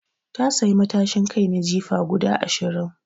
Ta sayi matashin kai na jifa guda Ashirin